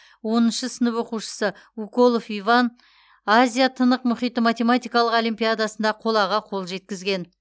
оныншы сынып оқушысы уколов иван азия тынық мұхиты математикалық олимпиадасында қолаға қол жеткізген